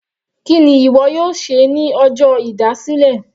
Kíni ìwọ yóò ṣe ní ọjọ́ ìdásílẹ̀?